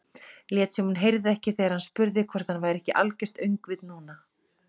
Lét sem hún heyrði ekki þegar hann spurði hvort hann væri ekki algert öngvit núna.